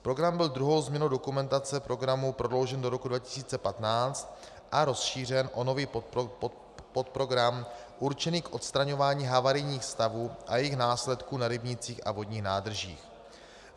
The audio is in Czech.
Program byl druhou změnou dokumentace programu prodloužen do roku 2015 a rozšířen o nový podprogram určený k odstraňování havarijních stavů a jejich následků na rybnících a vodních nádržích.